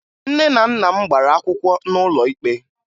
Nne na nna m gbara akwụkwọ n'ụlọ ikpe